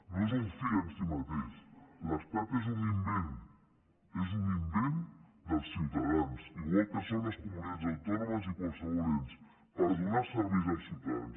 no és un fi en si mateix l’estat és un invent és un invent dels ciutadans igual que ho són les comunitats autònomes i qualsevol ens per donar serveis als ciutadans